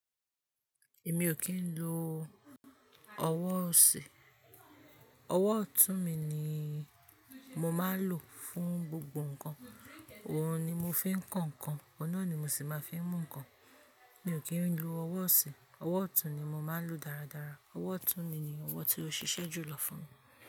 Èmi o kí ń lo ọwọ́ ọ̀sì, ọwọ́ ọ̀tún mi ni mo máa ń lò fún gbogbo nǹkan, òun ni mo fi ń kan nǹkan, ọ̀nà ni mo sì máa ń fi mú nǹkan. Èmi o kí ń lo ọwọ́ ọ̀sì, ọwọ́ ọ̀tún ni mo máa ń lò dáradára. Ọwọ́ ọ̀tún mi ni ọwọ́ tí ó ṣiṣẹ́ jùlọ fún mi.